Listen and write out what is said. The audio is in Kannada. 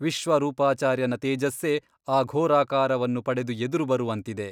ವಿಶ್ವರೂಪಾಚಾರ್ಯನ ತೇಜಸ್ಸೇ ಈ ಘೋರಾಕಾರವನ್ನು ಪಡೆದು ಎದುರು ಬರುವಂತಿದೆ.